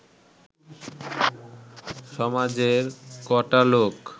সমাজের ক’টা লোক